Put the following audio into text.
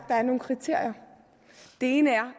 der er nogle kriterier og det ene er